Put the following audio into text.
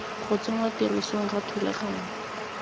go tsenngwa tirisong ga thulaganyo